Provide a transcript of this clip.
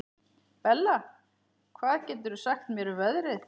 Bella, hvað geturðu sagt mér um veðrið?